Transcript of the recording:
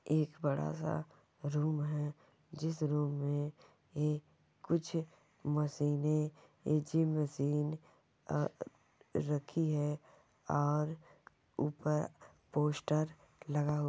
एक बड़ा-सा रूम है जिस रूम में एक कुछ मशीने जिम मशीने आ रखी है और ऊपर पोस्टर लगा हुआ --